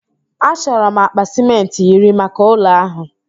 Achọrọ m akpa sịmentị iri maka ụlọ ahụ.